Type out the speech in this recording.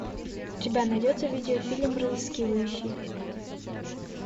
у тебя найдется видеофильм разыскивающий